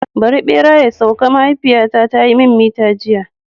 Bari bera ya sauka! mahaifiyata ta yi mini mita jiya.